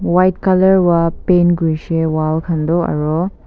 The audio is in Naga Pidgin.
white colourva paint kurishe wall kanto aro.